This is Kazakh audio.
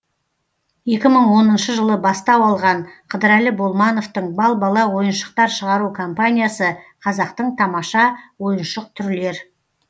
екі мың оныншы жылы бастау алған қыдырәлі болмановтың бал бала ойыншықтар шығару компаниясы қазақтың тамаша ойыншық түрлер